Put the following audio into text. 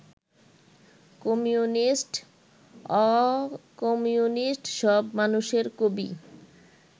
কমিউনিস্ট-অকমিউনিস্ট সব মানুষের কবি